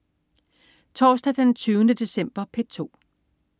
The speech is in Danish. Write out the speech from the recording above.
Torsdag den 20. december - P2: